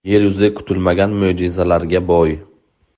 Yer yuzi kutilmagan mo‘jizalarga boy.